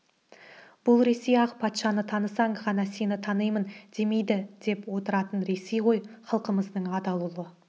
бұл ресей ақ патшаны танысаң ғана сені танимын демейді деп отыратын ресей ғой халқымыздың адал ұлы